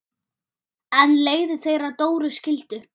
En leiðir þeirra Dóru skildu.